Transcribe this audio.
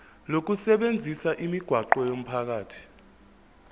lokusebenzisa imigwaqo yomphakathi